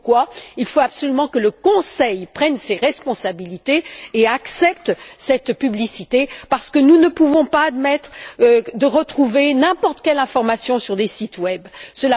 C'est pourquoi il faut absolument que le Conseil prenne ses responsabilités et accepte cette publicité parce que nous ne pouvons pas admettre de retrouver n'importe quelle information sur des sites Internet.